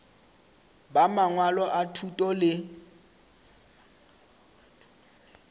ba mangwalo a thuto le